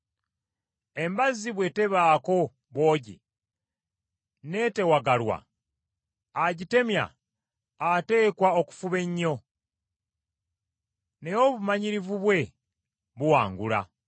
Embazzi bwe tebaako bwogi, n’etewagalwa, agitemya ateekwa okufuba ennyo, naye obumanyirivu bwe buwangula.